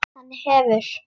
Hann hefur.